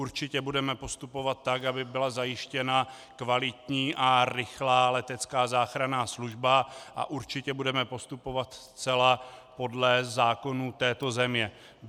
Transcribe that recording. Určitě budeme postupovat tak, aby byla zajištěna kvalitní a rychlá letecká záchranná služba, a určitě budeme postupovat zcela podle zákonů této země.